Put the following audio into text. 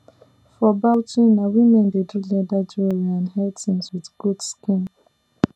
for bauchi na women dey do leather jewellery and hair things with goat skin